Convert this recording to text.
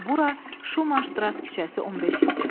Bura Şumax Şdras küçəsi 15 idi.